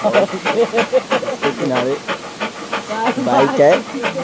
और इसके किनारे बाइक है ।